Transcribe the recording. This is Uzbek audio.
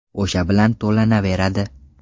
O‘sha bilan to‘lanaveradi.